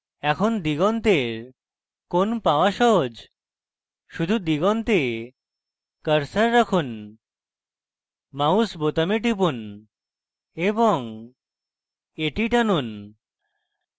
এখন দিগন্তের কোণ পাওয়া সহজ শুধু দিগন্তে cursor রাখুন mouse বোতামে টিপুন এবং এটি টানুন